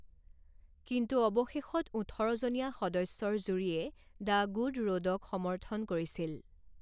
কিন্তু অৱশেষত ওঠৰজনীয়া সদস্যৰ জুৰীয়ে 'দ্য গুড ৰোড'ক সমৰ্থন কৰিছিল।